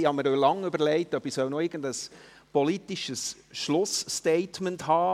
Ich habe mir lange überlegt, ob ich noch irgendein politisches Schlussstatement halte.